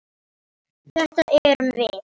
Þetta erum við.